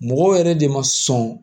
Mɔgɔ yɛrɛ de ma sɔn